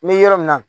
N bɛ yɔrɔ min na